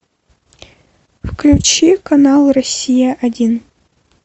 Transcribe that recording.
включи канал россия один